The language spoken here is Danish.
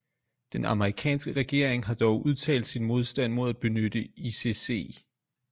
Den amerikanske regering har dog udtalt sin modstand mod at benytte icc